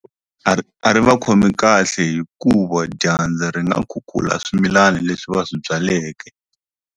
A ri a ri va khomi kahle hikuva dyandza ri nga khukhula swimilana leswi va swi byaleke.